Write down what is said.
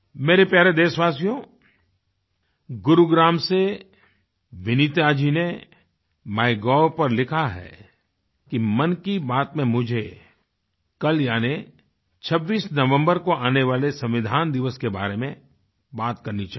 मेरे प्यारे देशवासियो गुरुग्राम से विनीता जी ने माइगोव पर लिखा है कि मन की बात में मुझे कल यानी 26 नवम्बर को आने वाले संविधान दिवस के बारे में बात करनी चाहिए